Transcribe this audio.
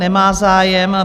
Nemá zájem.